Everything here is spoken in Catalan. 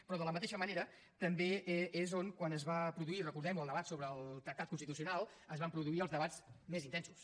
però de la mateixa manera també és on quan es va produir recordem ho el debat sobre el tractat constitucional es van produir els debats més intensos